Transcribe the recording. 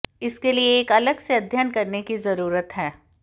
इसके लिए एक अलग से अध्ययन करने की जरूरत है